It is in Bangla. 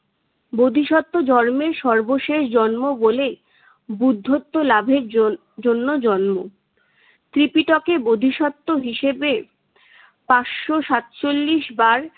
বোধিসত্ব জন্মের সর্বশেষ জন্ম বলে বুদ্ধত্ত লাভের জন~ জন্য জন্ম। ত্রিপিটকে বোধিসত্ত্ব হিসেবে পাঁচশো সাতচল্লিশ বার